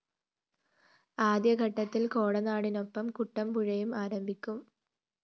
ആദ്യഘട്ടത്തില്‍ കോടനാടിനൊപ്പം കുട്ടമ്പുഴയും ആരംഭിക്കും